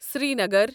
Srinagar